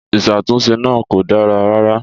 Ìṣàtúnṣe náà kò dára rárá.